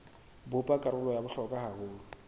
bopa karolo ya bohlokwa haholo